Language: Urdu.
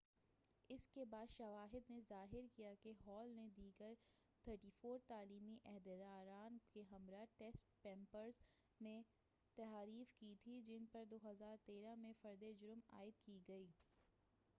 اس کے بعد شواہد نے ظاہر کیا کہ ہال نے دیگر 34 تعلیمی عہدیداران کے ہمراہ ٹیسٹ پیپرز میں تحریف کی تھی جن پر 2013 میں فرد جرم عائد کی گئی